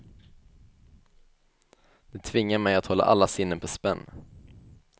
Det tvingar mig att hålla alla sinnen på spänn.